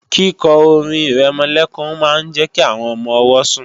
Kíkọ orin-ìrẹmọlẹ́kún máa ń jẹ́ kí àwọn ọmọ-ọwọ́ sùn